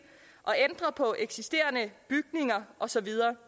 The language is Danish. at ændre på eksisterende bygninger og så videre